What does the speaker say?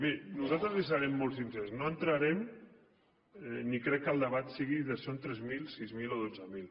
miri nosaltres li serem molt sincers no entrarem ni crec que el debat sigui de si són tres mil sis mil o dotze mil